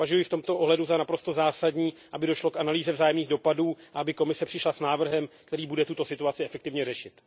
Považuji v tomto ohledu za naprosto zásadní, aby došlo k analýze vzájemných dopadů a aby Komise přišla s návrhem, který bude tuto situaci efektivně řešit.